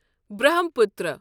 Brahmaputra